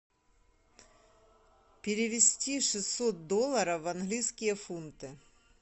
перевести шестьсот долларов в английские фунты